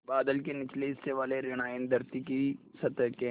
बादल के निचले हिस्से वाले ॠण आयन धरती की सतह के